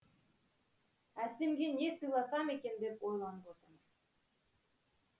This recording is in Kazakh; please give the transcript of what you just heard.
әсемге не сыйласам екен деп ойланып отырмын